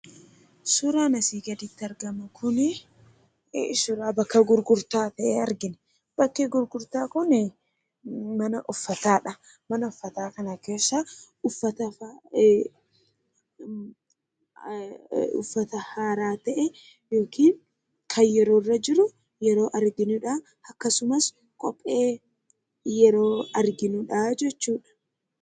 Suuraan asi gadiitti argamu kuni suuraa bakka gurgurta ta'e arginaa. Bakki gurgurtaa kuni mana uffatadha. Mana uffata kana keessa uffataa haaraa ta'e yookiin kan yeroo irra jiruu yeroo arginuudha. Akkasumaas Kophee yeroo arginuudha jechuudha.